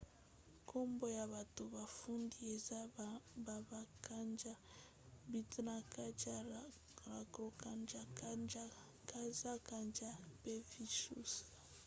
nkombo ya bato bafundi eza baba kanjar bhutha kanjar rampro kanjar gaza kanjar mpe vishnu kanjar